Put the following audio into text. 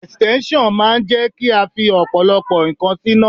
Ẹ̀stẹ́nṣọ̀n máa ń jẹ́ kí a fi ọ̀pọ̀lọpọ̀ ǹkan síná.